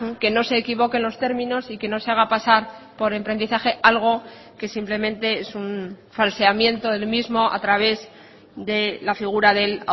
que no se equivoquen los términos y que no se haga pasar por emprendizaje algo que simplemente es un falseamiento del mismo a través de la figura del